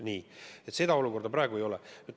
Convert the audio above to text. Nii, seda olukorda praegu ei ole.